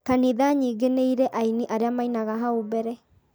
kanitha nyingĩ nĩ irĩ aini arĩa mainaga hau mbere